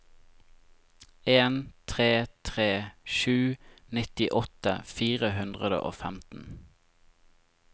en tre tre sju nittiåtte fire hundre og femten